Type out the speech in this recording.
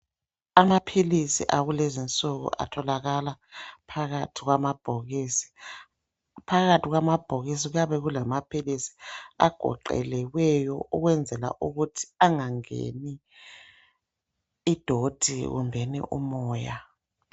Amaphilisi akulezinsuku atholakala phakathi kwamabhokisi. Phakathi kwamabhokisi kuyabe kulamaphilisi agoqelekweyo ukwenzela ukuthi angangeni idoti kumbeni umoya.